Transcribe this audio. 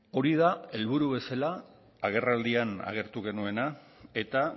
hori da helburu bezala agerraldian agertu genuena eta